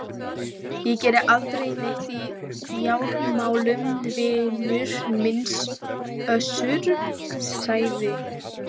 Ég geri aldrei neitt í fjármálum vinur minn Össur, sagði